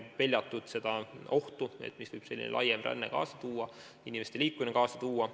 Peljatakse ohtu, mida laiem ränne, inimeste laiem liikumine võib kaasa tuua.